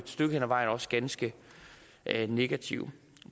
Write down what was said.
stykke hen ad vejen også ganske negative